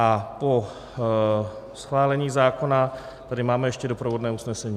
A po schválení zákona tady máme ještě doprovodné usnesení.